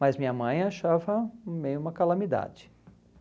Mas minha mãe achava meio uma calamidade.